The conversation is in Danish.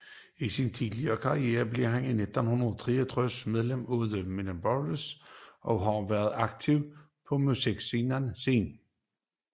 I sin tidlige karriere blev han i 1963 medlem af The Mindbenders og har været aktiv på musikscenen siden